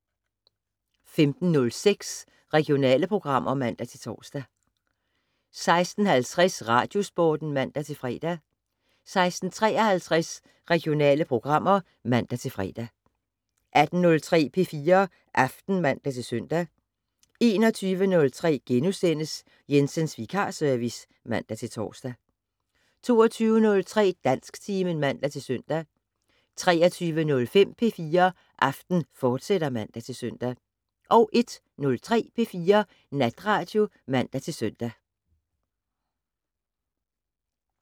15:06: Regionale programmer (man-tor) 16:50: Radiosporten (man-fre) 16:53: Regionale programmer (man-fre) 18:03: P4 Aften (man-søn) 21:03: Jensens Vikarservice *(man-tor) 22:03: Dansktimen (man-søn) 23:05: P4 Aften, fortsat (man-søn) 01:03: P4 Natradio (man-søn)